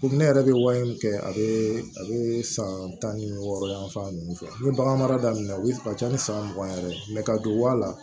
Komi ne yɛrɛ bɛ wari min kɛ a bɛ a bɛ san tan ni wɔɔrɔ yan fan ninnu fɛ ni bagan mara daminɛna olu ka ca ni san mugan ye yɛrɛ ka don waa la